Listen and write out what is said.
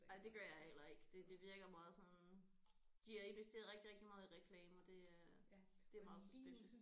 Nej det gør jeg heller ikke det det virker meget sådan de har investeret rigtig rigtig meget i reklame og det er det er meget suspicious